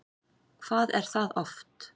Hvað er það oft?